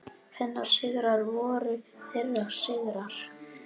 Hennar sigrar voru þeirra sigrar.